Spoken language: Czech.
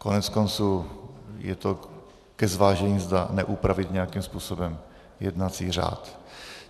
Koneckonců je to ke zvážení, zda neupravit nějakým způsobem jednací řád.